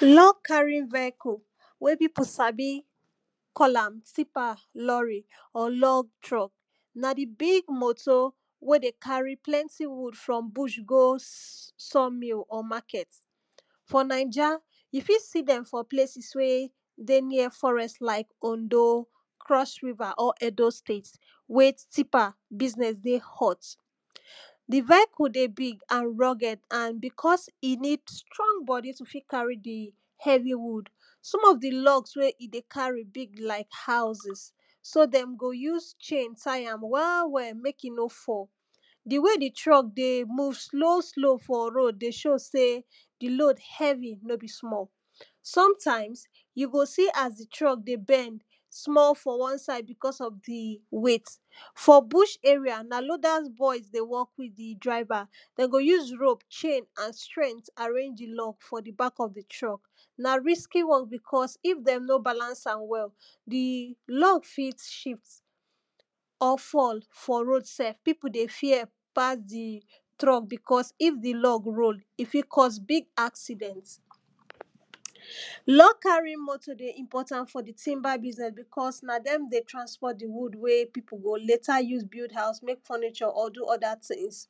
Log carrying vehicle wey pipo sabi call am tipper, lorry or log truck na di big motor wey dey carry plenty wood for bush go sawmill or market. For naija you fit see dem for places wey dey near forest like Ondo, Cross river or Edo State wey tipper business dey hot. Di vehicle dey big and rugged and becos e need strong body to fit carry di heavy wood, some of di log wey e dey carry big like houses so dem go use chain tie am well well mek e no fall. Di wey di truck dey move slow slow for road dey show sey di load heavy no be small, sometimes you go see as di truck dey bend small for one side becos of di weight. For busy areas na loaders boys dey work with di driver dey go use rope, chain and strength arrange di log for di back of di truck, na risky work becos if dey no balance am well di log fit shift or fall for road sef. Pipo dey fear pass di truck becos if di lod roll e fit cause big accident. Log carrying motor dey important for di timber business becos na dem dey di wood wey pipo go later use build house, mek furniture or do other things,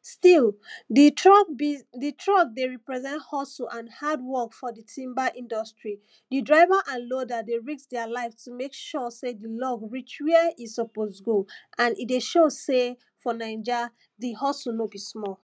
still di truck dey represent hustle and hardwork for di timber industry. Di driver and loader dey risk deir life to mek sure sey di log reach where e suppose go and e dey show sey for naija di hustle no be small.